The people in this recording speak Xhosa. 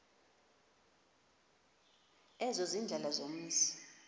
ezo ziindlela zomzi